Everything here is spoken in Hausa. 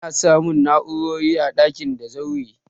Ana samun na'urar sanyi a daki da zaure.